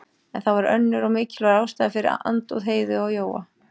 En það var önnur og mikilvægari ástæða fyrir andúð Heiðu á Jóa.